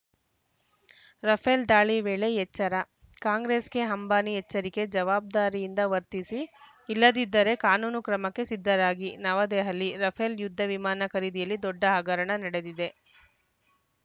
Rafale ದಾಳಿ ವೇಳೆ ಎಚ್ಚರ ಕಾಂಗ್ರೆಸ್‌ಗೆ ಅಂಬಾನಿ ಎಚ್ಚರಿಕೆ ಜವಾಬ್ದಾರಿಯಿಂದ ವರ್ತಿಸಿ ಇಲ್ಲದಿದ್ದರೆ ಕಾನೂನು ಕ್ರಮಕ್ಕೆ ಸಿದ್ಧರಾಗಿ ನವದೆಹಲಿ ರಫೇಲ್‌ ಯುದ್ಧ ವಿಮಾನ ಖರೀದಿಯಲ್ಲಿ ದೊಡ್ಡ ಹಗರಣ ನಡೆದಿದೆ